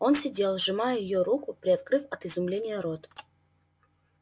он сидел сжимая её руку приоткрыв от изумления рот